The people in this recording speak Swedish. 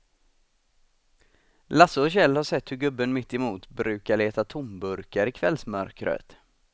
Lasse och Kjell har sett hur gubben mittemot brukar leta tomburkar i kvällsmörkret.